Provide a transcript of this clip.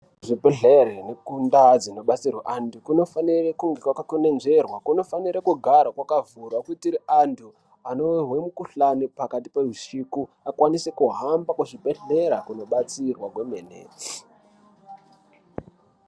Kuzvibhehlere kundaa dzinobatsirwa antu kunofanire kunge kwakakwenenzverwa, kunofanire kugara kwakavhurwa kuitire vantu anorware mukhuhlani pakati pehusiku akwanise kuhamba kuzvibhehlera kunobatsirwa kwemene.